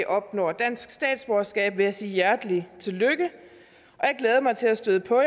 opnår dansk statsborgerskab vil jeg sige hjertelig tillykke og jeg glæder mig til at støde på